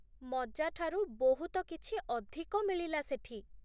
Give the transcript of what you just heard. ମଜା ଠାରୁ ବହୁତ କିଛି ଅଧିକ ମିଳିଲା ସେଠି !